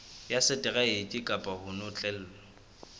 ya seteraeke kapa ho notlellwa